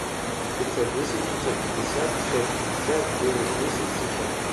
пятьсот десять пятьсот пятьдесят шесть пятьдесят девять десять семьсот